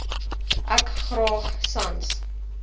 ek graag sans